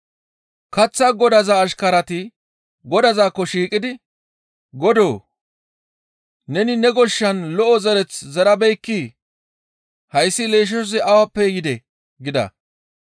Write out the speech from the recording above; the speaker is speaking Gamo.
«Kaththaa godaza ashkarati godazaakko shiiqidi, ‹Godoo! Neni ne goshshan lo7o zereth zerabeekkii? Hayssi leeshshoy awappe yidee?› gida.